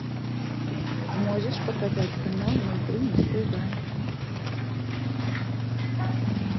можешь показать канал ноль три на тв